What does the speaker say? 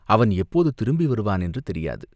அவன் எப்போது திரும்பி வருவான் என்று தெரியாது.